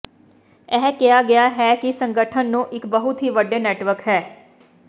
ਇਹ ਕਿਹਾ ਗਿਆ ਹੈ ਕਿ ਸੰਗਠਨ ਨੂੰ ਇਕ ਬਹੁਤ ਹੀ ਵੱਡੇ ਨੈੱਟਵਰਕ ਹੈ